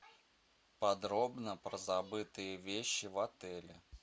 подробно про забытые вещи в отеле